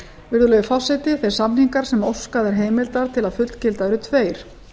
virðulegi forseti þeir samningar sem óskað er heimildar til að fullgilda eru tveir